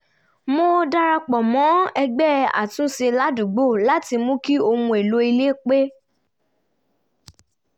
mo darapọ̀ mọ́ ẹgbẹ́ àtúnṣe ládùúgbò láti mú kí ohun èlò ilé pẹ́